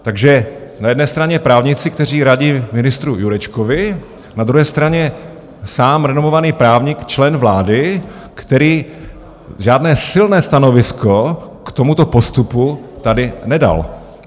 Takže na jedné straně právníci, kteří radí ministru Jurečkovi, na druhé straně sám renomovaný právník, člen vlády, který žádné silné stanovisko k tomuto postupu tady nedal.